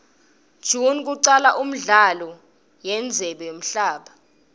june kwacala imdlalo yendzebe yemhaba